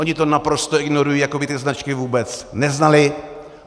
Oni to naprosto ignorují, jako by ty značky vůbec neznali.